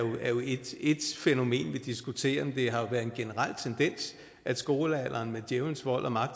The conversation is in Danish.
ét fænomen vi diskuterer men det har jo været en generel tendens at skolealderen med djævelens vold og magt